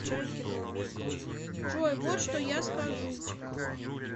джой вот что я скажу